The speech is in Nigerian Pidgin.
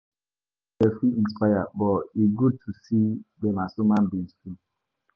Role models fit inspire, but e good to see dem as human beings too.